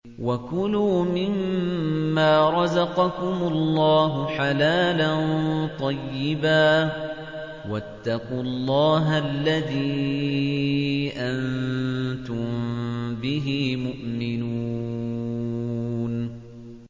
وَكُلُوا مِمَّا رَزَقَكُمُ اللَّهُ حَلَالًا طَيِّبًا ۚ وَاتَّقُوا اللَّهَ الَّذِي أَنتُم بِهِ مُؤْمِنُونَ